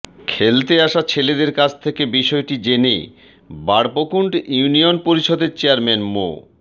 খেলতে আসা ছেলেদের কাছ থেকে বিষয়টি জেনে বাড়বকুণ্ড ইউনিয়ন পরিষদের চেয়ারম্যান মো